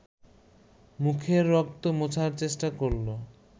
মুখের রক্ত মোছার চেষ্টা করল